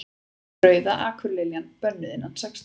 Rauða akurliljan. bönnuð innan sextán